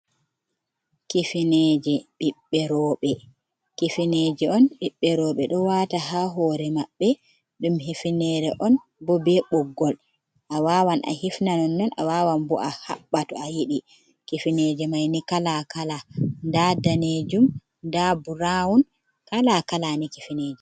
Kifineje, ɓiɓɓe roɓe, kifineje on, ɓiɓɓe roɓe do wata ha hore maɓɓe, dum hifnere on, bo be ɓoggol, a wawan a hifna non, a wawan bo a haɓɓa to a yidi. Kifineje maini kala, kala ,nda danejum nda burawun. kala kala ni kifineje.